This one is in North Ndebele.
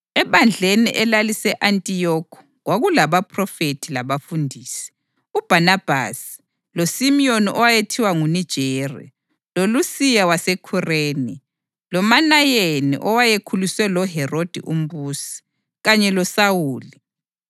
Ebandleni elalise-Antiyokhi kwakulabaphrofethi labafundisi: uBhanabhasi, loSimiyoni owayethiwa nguNigeri, loLusiya waseKhureni, loManayeni (owayekhuliswe loHerodi umbusi) kanye loSawuli.